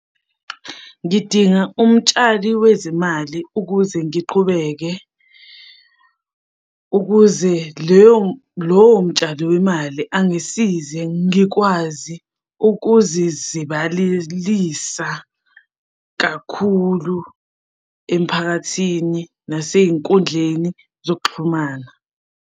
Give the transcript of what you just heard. Ngidinga umtshali wezimali ukuze ngiqhubeke, ukuze leyo lowo mtshali wemali angisize ngikwazi ukuzizibalelisa kakhulu emphakathini nasey'nkundleni zokuxhumana.